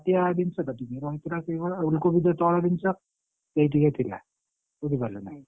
ମାଟିଆ ଜିନିଷ ତ ରହିଥିଲା ସେଇଭଳିଆ ଆଉ ଉଲକୋବି ସେଇ ତଳ ଜିନିଷ ସେଇ ଟିକେ ଥିଲା ବୁଝିପାରିଲୁନା!